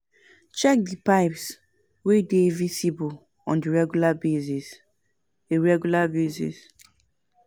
Check di pipes wey dey visible on a regular basis a regular basis